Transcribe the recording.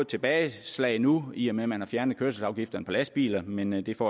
tilbageslag nu i og med at man har fjernet kørselsafgifterne på lastbiler men men det får